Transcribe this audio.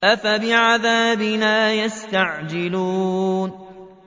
أَفَبِعَذَابِنَا يَسْتَعْجِلُونَ